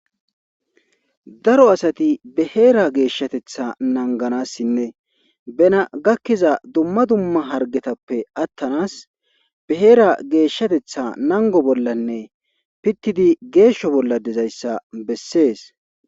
daro asati be heera geeshshatetha nanganassinne bena gakkiza dumma dumma hargetappe attanas beheera geeshshatetha nango bollanne pittidi geeshsho bolla dezayssa bessees